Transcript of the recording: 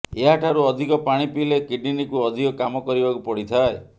ଏହା ଠାରୁ ଅଧିକ ପାଣି ପିଇଲେ କିଡ଼ନୀକୁ ଅଧିକ କାମ କରିବାକୁ ପଡ଼ିଥାଏ